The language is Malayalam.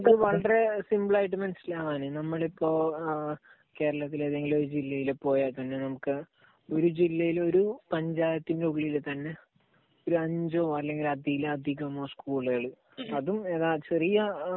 അത് വളരെ സിംപിൾ ആയിട്ട് മനസ്സിലാവാൻ നമ്മൾ ഇപ്പോൾ കേരളത്തിൽ ഏതെങ്കിലും ഒരു ജില്ലയിൽ പോയാൽത്തന്നെ നമുക്ക് ഒരു ജില്ലയിൽ, ഒരു പഞ്ചായത്തിന്റെ ഉള്ളിൽ തന്നെ ഒരു അഞ്ചോ അല്ലെങ്കിൽ അതിലധികമോ സ്കൂളുകൾ അതും ചെറിയ